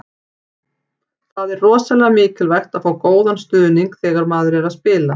Það er rosalega mikilvægt að fá góðan stuðning þegar maður er að spila.